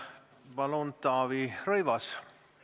Palun, Taavi Rõivas!